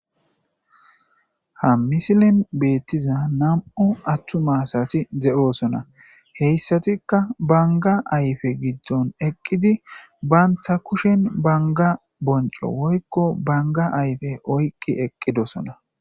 ha misilen beettiza nam7u atum asati de7osona heyssatikka banga ayfe giddon eqqidi baantta kushen banga bonco woykko banga ayfe oykki eqqidosona